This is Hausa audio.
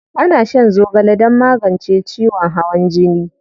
Ana shan zogale don magance ciwon hawan jini.